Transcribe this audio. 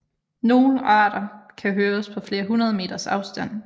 Nogle arter kan høres på flere hundrede meters afstand